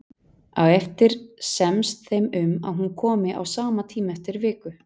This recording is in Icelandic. Á eftir semst þeim um að hún komi á sama tíma eftir viku.